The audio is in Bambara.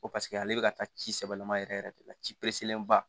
Ko paseke ale bɛ ka taa ci sɛbɛlama yɛrɛ yɛrɛ de la ci pezelenba